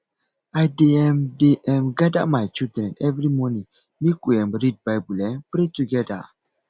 i dey um dey um gada my children every morning make we um read bible um pray togeda